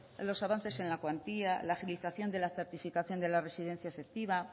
los avances en la cuantía la agilización de la certificación de la residencia efectiva